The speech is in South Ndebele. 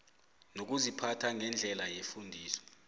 nokuziphatha ngendlela yefundiso